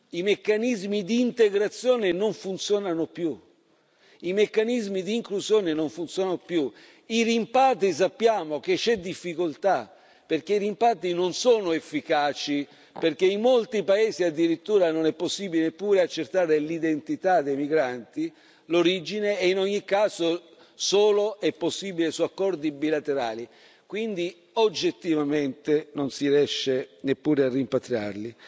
I meccanismi di integrazione non funzionano più, i meccanismi di inclusione non funzionano più, sappiamo che ci sono difficoltà per i rimpatri, perché i rimpatri non sono efficaci, perché in molti paesi, addirittura, non è possibile neppure accertare l'identità dei migranti, l'origine, e in ogni caso è solo possibile su accordi bilaterali, quindi oggettivamente non si riesce neppure a rimpatriarli.